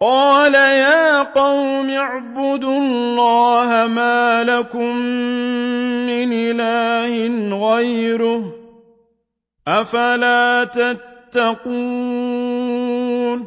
قَالَ يَا قَوْمِ اعْبُدُوا اللَّهَ مَا لَكُم مِّنْ إِلَٰهٍ غَيْرُهُ ۚ أَفَلَا تَتَّقُونَ